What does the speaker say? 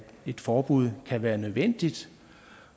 et forbud kan være nødvendigt